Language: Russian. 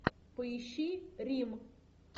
поищи рим